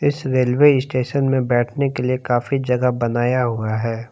इस railway station में बैठने के लिए काफी जगह बनाया हुआ है।